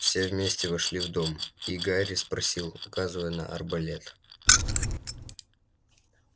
все вместе вошли в дом и гарри спросил указывая на арбалет